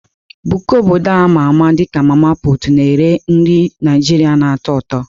Buka obodo a ma ama dị ka "mama-put" na-ere nri Naijiria na-atọ ụtọ.